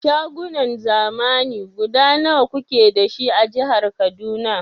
Shagunan zamani guda nawa kuke dashi a jihar Kaduna?